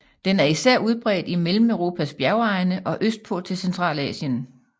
Den er især udbredt i Mellemeuropas bjergegne og østpå til Centralasien